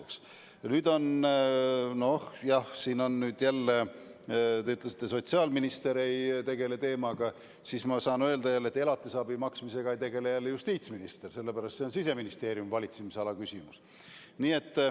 Ja nüüd on nii – te ütlesite, et sotsiaalminister ei tegele selle teemaga, aga mina saan jälle öelda, et elatisabi maksmisega ei tegele ka justiitsminister, see on Siseministeeriumi valitsemisala küsimus.